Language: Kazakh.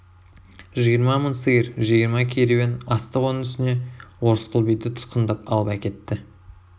жиырма мың сиыр жиырма керуен астық оның үстіне орысқұл биді тұтқындап алып әкетті